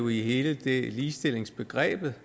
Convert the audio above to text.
i hele ligestillingsbegrebet